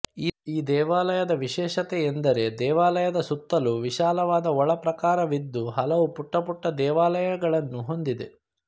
ಈ ದೇವಾಲಯದ ವಿಶೇಷತೆಯೆಂದರೆ ದೇವಾಲಯದ ಸುತ್ತಲೂ ವಿಶಾಲವಾದ ಒಳ ಪ್ರಾಕಾರವಿದ್ದು ಹಲವು ಪುಟ್ಟ ಪುಟ್ಟ ದೇವಾಲಯಗಳನ್ನು ಹೊಂದಿದೆ